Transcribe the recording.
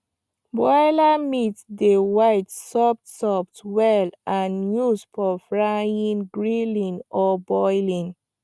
broiler meat dey white soft soft well and used for frying grilling or boiling